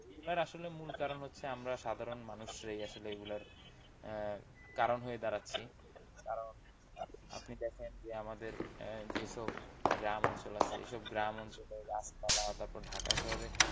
এগুলার আসলে মূল কারণ হচ্ছে আমরা সাধারণ মানুষরাই আসলে এগুলার আহ কারণ হয়ে দাঁড়াচ্ছি। কারণ আপনি দেখেন যে আমাদের যে সব গ্রাম অঞ্চল আছে সেসব গ্রামাঞ্চলে এইসব রাস্তাঘাট তারপর ঢাকা শহরে।